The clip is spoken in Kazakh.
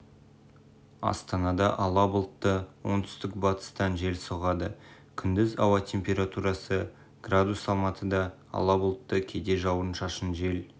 астанада ала бұлтты оңтүстік-батыстан жел соғады күндіз ауа температурасы градус алматыда ала бұлтты кейде жауын-шашын жел